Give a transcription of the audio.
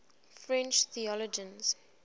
french theologians